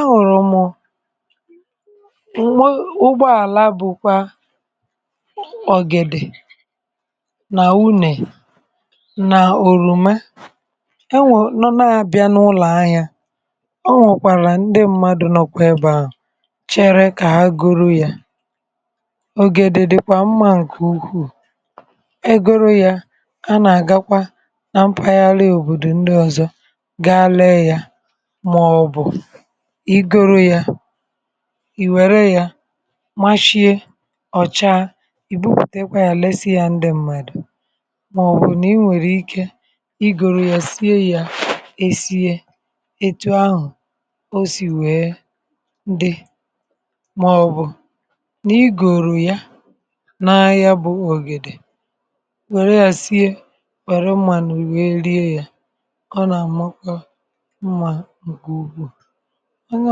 ahuru mụ̀ ụgbọ àla bụ̀kwa ọ̀gịdị nà unè nà òrùme enwė nọ n’abịa n’ụlọ̀ ahị̇ȧ ọ nwẹ̀kwàlà ndị mmadù nọkwà ebe ahu chere kà agụrụ yȧ ògèdèdèkwa mma ǹkè ukwuu egoro yȧ a nà-àgakwa na mpaghara òbòdò ndị ọ̀zọ gaa lee yȧ maobu igoro yȧ ì wère yȧ mashiè ọ̀cha ì butekwa yȧ lesị yȧ ndị mmadù màọ̀bụ̀ nà i nwèrè ikė igòrò yȧ sie yȧ è sie ètụ ahụ̀ o sì wèe dị màọ̀bụ̀ nà igòrò ya na ya bụ̇ ògèdè wère yȧ sie wère manù wèe rie yȧ ọ nȧ amakwa mma nke ukwu onye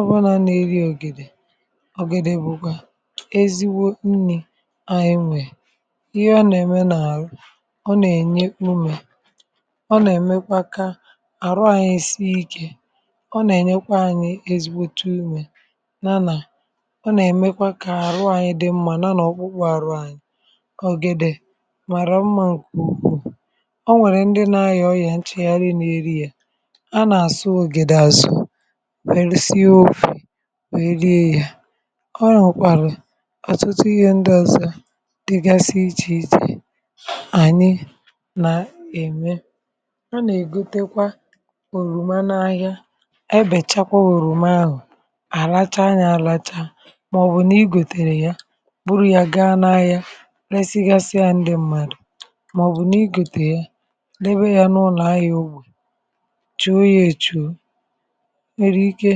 ọbụlà nà-eri ògìdè ọ̀gìdè bụ̀kwa eziwo nni̇ anyị nwee ihe ọ nà-ème n’àrụ ọ nà-ènye umė ọ nà-èmekwa kaa àrụ anyị sii ikė ọ nà-ènyekwa anyị ezigbote umė yànà ọ nà-èmekwa kà àrụ anyị dị mmȧ nà nà ọ kpụkpo àrụ anyị ọ̀gìdè màrà mmȧ ǹkè ukwuu ọ nwèrè ndị nà-aya ọrịà nchègharị nà-eri yȧ a na asu ogide asu wèrè sie ofi̇ wèe rie yȧ ọ nà ọ̀kwàlà ọtụtụ ihe ndị ọ̀sọ dịgasị ichè ichè ànyị nà ème a nà-ègotekwa òrùme anụ ahịa ẹ bẹ̀chakwa òrùmahụ̀ àlacha ya àlacha màọ̀bụ̀ nà igòtèrè ya bụrụ yȧ gaa n’ahịa reisigasịa ndị mmadù màọ̀bụ̀ nà igòtè ya debe ya n’ụnọ̀ ahịa ugbò chuo ya èchuo i nwere ike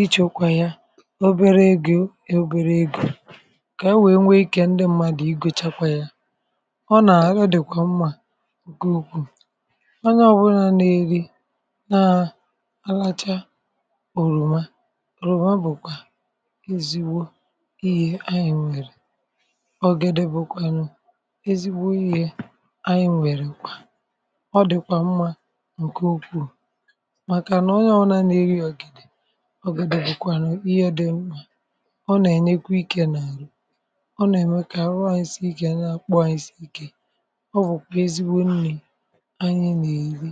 ichėkwà ya obere egȯ èbere egȯ kà e wèe nwee ikė ndị mmadù i gochakwa ya ọ nà ọdị̀kwà mma nke ukwuù onye ọbụlà n’eri naa aracha òròma òròma bụ̀kwà ezigbo iyė anyị̇ nwèrè ọ gede bụ̇kwànụ̀ ezigbo i̇hė anyị̇ nwèrè kwa ọ dị̀kwà mma nke ukwù maka na onye obula n'eri ògìdè ọ gàdị bụ̀kwàrụ ihe ọ̀dị mmȧ ọ nà ẹ̀nyẹkwa ikė n’àrụ ọ nàẹ̀mẹ̀ kà arụ anyi sii ikė anyị n’ọkpukpu anyị̀ sì ike ọ wụ̀kwà ezigbo nni̇ anyị n’èli.